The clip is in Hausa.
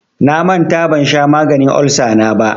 Na manta ban sha maganin olsa na ba.